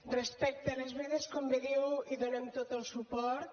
respecte a les vedes com bé diu hi donem tot el suport